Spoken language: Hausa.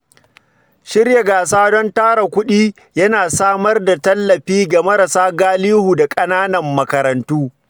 Shirya gasa don tara kuɗi yana samar da tallafi ga marasa galihu da ƙananan makarantu.